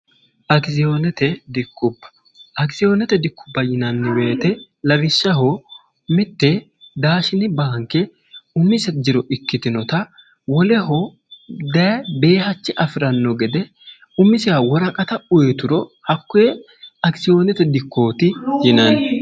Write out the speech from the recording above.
dakisiyoonete dikkubba yinanni beyite lawishshaho mitte daashini baanke umisa jiro ikkitinota woleho dbeehachi afi'ranno gede umisiha wora qata uyituro hakkoe akisiyoonete dikkooti yinanni